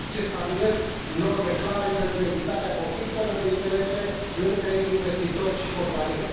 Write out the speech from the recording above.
Se stabilesc norme clare pentru evitarea conflictelor de interese între investitori și companie.